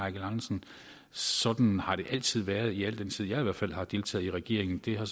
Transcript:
andersen sådan har det altid været i al den tid jeg i hvert fald har deltaget i regeringen det har